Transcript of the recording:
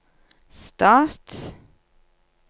stat